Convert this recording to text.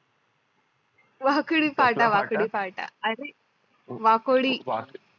वाकोडी फाटा वाकोडी फाटा अरे वाकोडी